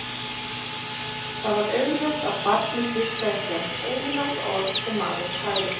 Það var augljóst að barnið hlustaði ekki á eitt einasta orð sem maðurinn sagði.